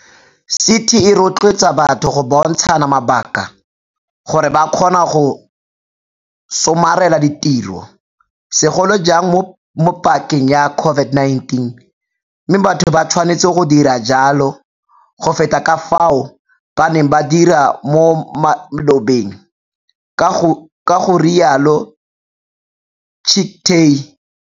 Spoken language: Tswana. CT e rotloetsa batho go bontshana mabaka gore ba kgone go somarela ditiro, segolo jang mo pakeng ya COVID-19, mme batho ba tshwanetse go dira jalo go feta ka fao ba neng ba dira mo malobeng, ga rialo Chicktay.